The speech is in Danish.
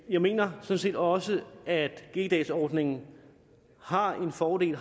jeg mener sådan set også at g dagsordningen har en fordel